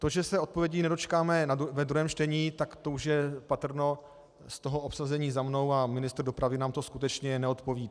To, že se odpovědí nedočekáme ve druhém čtení, tak to už je patrno z toho obsazení za mnou a ministr dopravy nám to skutečně neodpoví.